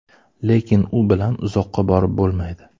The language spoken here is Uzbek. Lekin u bilan uzoqqa borib bo‘lmaydi.